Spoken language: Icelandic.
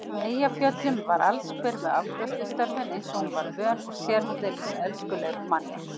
Eyjafjöllum var allsber við afgreiðslustörfin eins og hún var vön og sérdeilis elskuleg við manninn.